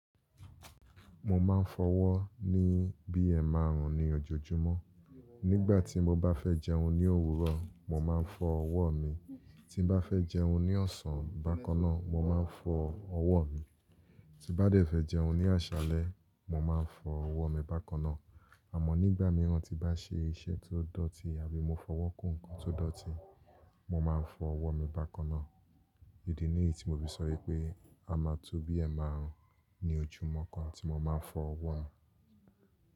Mo máa ń fọwọ́ ní bi ẹmàrùn ní ojoojúmọ́. Nígbà tí mo bá fẹ́ jẹun ní òwúrọ̀, mo máa ń fọ ọwọ́ mi. Tí n bá fẹ́ jẹun ní ọ̀sán bákan náà, mo máa ń fọ ọwọ́ mi. Tí bá fẹ́ jẹun ní àṣálẹ́, mo máa ń fọ ọwọ́ mi bákan náà. Àmọ́ nígbà mìíràn tí bá ṣe iṣẹ́ ti o dọ̀tí àbí mo fọwọ́ kún ǹkan tó dọ̀tí, mo máa ń fọ ọwọ́ mi bákan náà. Idi ní èyí tí mo fi sọ pé a máa to bi ẹmarùn ní ojúmọ́ kan tí mo máa ń fọ ọwọ́ mi.